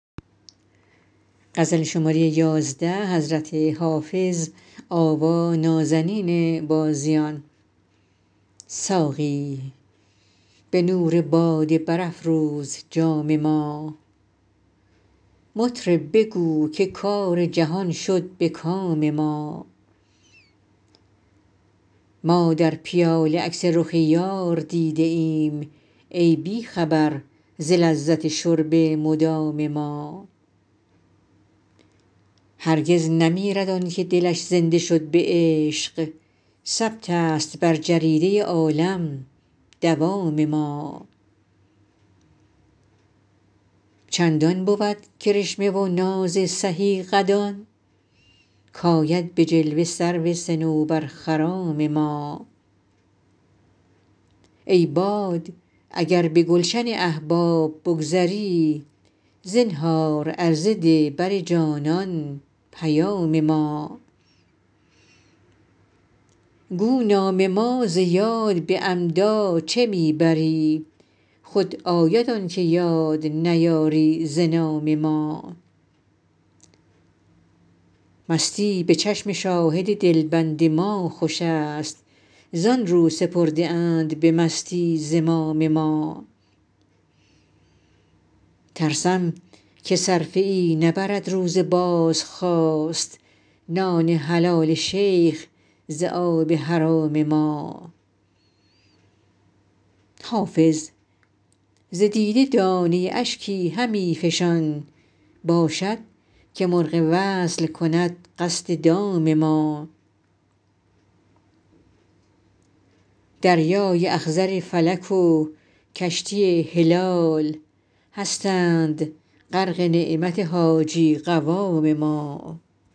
ساقی به نور باده برافروز جام ما مطرب بگو که کار جهان شد به کام ما ما در پیاله عکس رخ یار دیده ایم ای بی خبر ز لذت شرب مدام ما هرگز نمیرد آن که دلش زنده شد به عشق ثبت است بر جریده عالم دوام ما چندان بود کرشمه و ناز سهی قدان کآید به جلوه سرو صنوبرخرام ما ای باد اگر به گلشن احباب بگذری زنهار عرضه ده بر جانان پیام ما گو نام ما ز یاد به عمدا چه می بری خود آید آن که یاد نیاری ز نام ما مستی به چشم شاهد دلبند ما خوش است زآن رو سپرده اند به مستی زمام ما ترسم که صرفه ای نبرد روز بازخواست نان حلال شیخ ز آب حرام ما حافظ ز دیده دانه اشکی همی فشان باشد که مرغ وصل کند قصد دام ما دریای اخضر فلک و کشتی هلال هستند غرق نعمت حاجی قوام ما